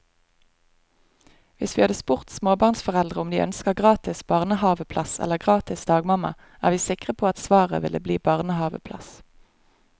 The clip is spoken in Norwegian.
Hvis vi hadde spurt småbarnsforeldre om de ønsker gratis barnehaveplass eller gratis dagmamma, er vi sikre på at svaret ville bli barnehaveplass.